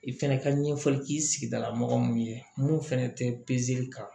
I fɛnɛ ka ɲɛfɔli k'i sigidala mɔgɔ min ye mun fɛnɛ tɛ kan